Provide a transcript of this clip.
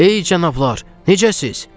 Ey cənablar, necəsiz?